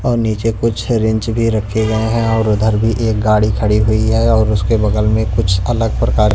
और नीचे कुछ रिंच भी रखे गए हैं और उधर भी एक गाड़ी खड़ी हुई है और उसके बगल में कुछ अलग प्रकार--